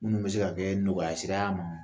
Minnu bɛ se ka kɛ nɔgɔya sira y'a ma.